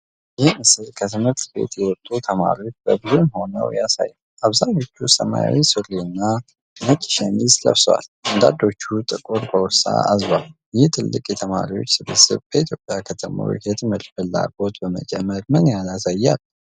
ይህ ምስል ከ ትምህርት ቤት የወጡ ተማሪዎች በቡድን ሆነው ያሳያል። አብዛኞቹ ሰማያዊ ሱሪና ነጭ ሸሚዝ ለብሰው፣ አንዳንዶቹም ጥቁር ቦርሳ አዝለዋል። ይህ ትልቅ የተማሪዎች ስብስብ በኢትዮጵያ ከተሞች የትምህርት ፍላጎት መጨመር ምን ያህል ያሳያል?